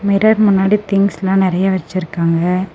Mirror முன்னாடி திங்க்ஸ்லாம் நெறைய வச்சிருக்காங்க.